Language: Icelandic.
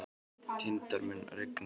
Tindar, mun rigna í dag?